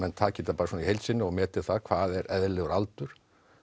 taki þetta bara í heild sinni og meti hvað er eðlilegur aldur